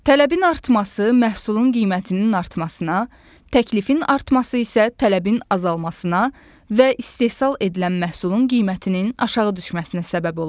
Tələbin artması məhsulun qiymətinin artmasına, təklifin artması isə tələbin azalmasına və istehsal edilən məhsulun qiymətinin aşağı düşməsinə səbəb ola bilər.